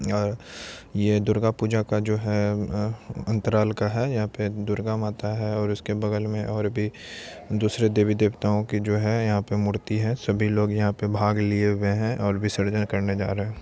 यहाँ यह दुर्गा पूजा का जो है अंतराल का है यहाँ पे दुर्गा माता है और भी दूसरे देवी देवता की जो है यहाँ पर मूर्ति है सभी लोग यहाँ पे भाग लिए हुए है और विसर्जन करने जा रहे हैं।